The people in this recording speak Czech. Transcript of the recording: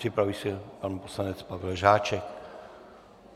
Připraví se pan poslanec Pavel Žáček.